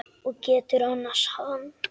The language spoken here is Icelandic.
Og geturðu annast hann?